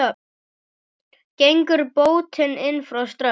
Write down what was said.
Gengur bótin inn frá strönd.